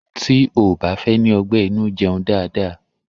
Tí o ò bá fẹ́ ní ọgbẹ́ inú jẹun dáadáa.